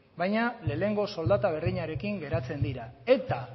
baina lehenengo soldata berdinarekin geratzen dira eta